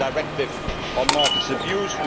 We have a directive on market abuse.